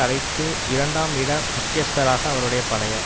அழைத்து இரண்டாம் இட முக்கியஸ்தராக அவருடைய பழைய